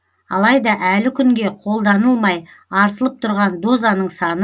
алайда әлі күнге қолданылмай артылып тұрған дозаның саны